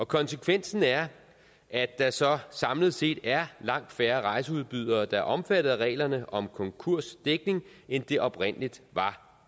konsekvensen er at der så samlet set er langt færre rejseudbydere der er omfattet af reglerne om konkursdækning end det oprindeligt var